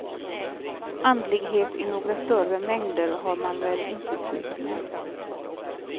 Andlighet i några större mängder har man väl inte tid med.